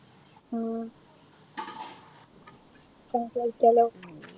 ഉം സംസാരിക്കലോ